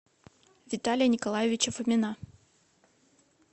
виталия николаевича фомина